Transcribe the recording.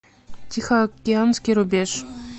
тихоокеанский рубеж